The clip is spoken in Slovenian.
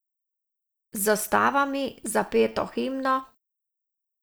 Z zastavami, zapeto himno...